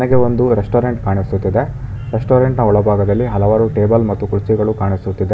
ಇಲ್ಲಿ ಒಂದು ರೆಸ್ಟೋರೆಂಟ್ ಕಾಣಿಸುತ್ತಿದೆ ರೆಸ್ಟೋರೆಂಟ್ನ ಒಳಭಾಗದಲ್ಲಿ ಹಲವಾರು ಟೇಬಲ್ ಮತ್ತು ಕುರ್ಚಿಗಳು ಕಾಣುತ್ತಿದೆ.